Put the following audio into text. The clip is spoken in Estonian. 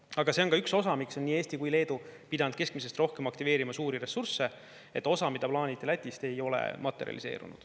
Aga see on ka üks osa, miks on nii Eesti kui Leedu pidanud keskmisest rohkem aktiveerima suuri ressursse, et osa, mida plaaniti Lätist, ei ole materialiseerunud.